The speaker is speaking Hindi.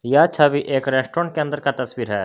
यह छवि एक रेस्टोरेंट के अंदर का तस्वीर है।